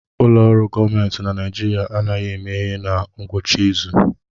Ụlọ ọrụ gọọmentị na Naijiria anaghị emeghe na ngwụcha izu